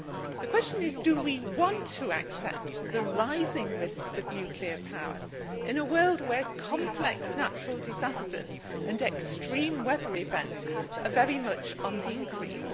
The question is do we want to accept the rising risks of nuclear power in a world where complex natural disasters and extreme weather events are very much on the increase?